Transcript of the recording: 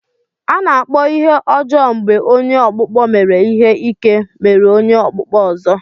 A na-akpọ ihe ọjọọ mgbe onye ọkpụkpọ mere ihe ike meru onye okpukpo ozo.